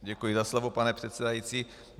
Děkuji za slovo, pane předsedající.